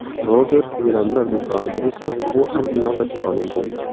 Roger gilamlar do‘konida esa bu ham inobatga olingan.